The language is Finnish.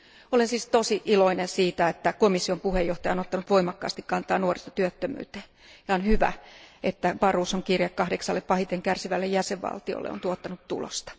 Olen siis todella iloinen siitä, että komission puheenjohtaja on ottanut voimakkaasti kantaa nuorisotyöttömyyteen, ja on hyvä, että Barroson kirje kahdeksalle pahiten kärsivälle jäsenvaltiolle on tuottanut tulosta.